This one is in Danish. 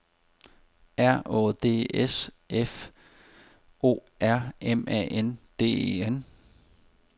R Å D S F O R M A N D E N